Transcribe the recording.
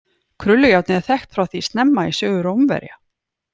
Krullujárnið er þekkt frá því snemma í sögu Rómverja.